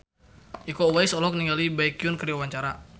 Iko Uwais olohok ningali Baekhyun keur diwawancara